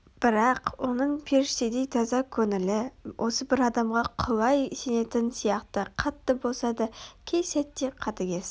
бірақ оның періштедей таза көңілі осы бір адамға құлай сенетін сияқты қатты болса да кей сәтте қатыгез